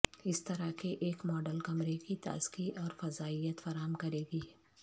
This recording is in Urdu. اس طرح کے ایک ماڈل کمرے کی تازگی اور فضائیت فراہم کرے گی